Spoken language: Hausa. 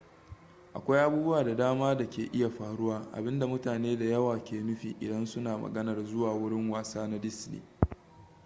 akwai abubuwa da dama da ke iya faruwa abinda mutane da yawa ke nufi idan su na maganar zuwa wurin wasa na disney